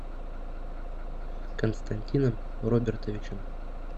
константином робертовичем